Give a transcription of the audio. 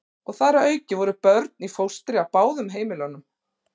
Og þar að auki voru börn í fóstri á báðum heimilunum.